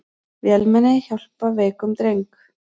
Vélmenni hjálpar veikum dreng